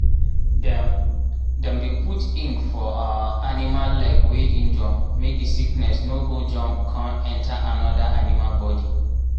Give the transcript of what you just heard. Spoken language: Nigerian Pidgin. dem dem dey put ink for um animal leg wey injure make the sickness no go jump um enter another animal body